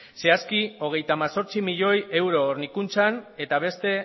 zehazki hogeita hemezortzi miloi euro hornikuntzan eta beste